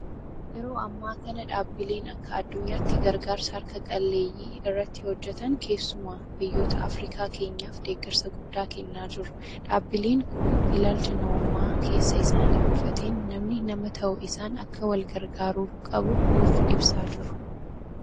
Yeroo ammaa kana dhaabbileen akka addunyaatti gargaarsa harka qalleeyyii irratti hojjetan keessumaa biyyoota afriikaa keenyaaf deeggarsa guddaa kennaa jiru. Dhaabbileen kun ilaalcha namummaa keessa isaanii buufateen namni nama ta'uu isaan akka walgargaaruu qabu nuuf ibsaa jiru.